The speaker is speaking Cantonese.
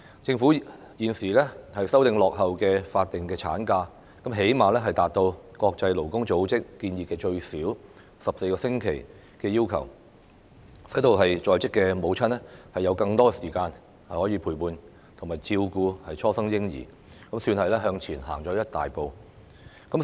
政府現時修訂落後的法定產假，最低限度達至國際勞工組織建議最少14個星期的要求，使在職母親有更多時間陪伴和照顧初生嬰兒，可算是向前走了一大步。